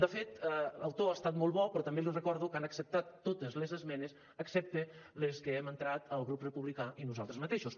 de fet el to ha estat molt bo però també li recordo que han acceptat totes les esmenes excepte les que hem entrat el grup republicà i nosaltres mateixos